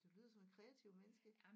Du lyder som et kreativ menneske